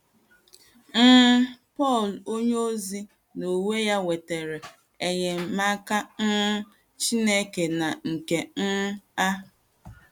um Pọl onyeozi n’onwe ya nwetara enyemaka um Chineke na nke um a.